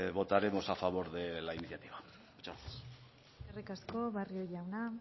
votaremos a favor de la iniciativa eskerrik asko barrio jauna